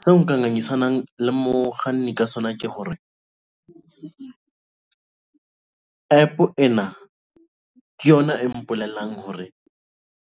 Seo nka ngangisanang le mokganni ka sona ke hore APP ena ke yona e mpolellang hore